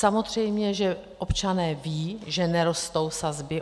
Samozřejmě že občané vědí, že nerostou sazby.